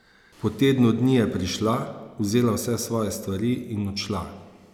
Po tednu dni je prišla, vzela vse svoje stvari in odšla.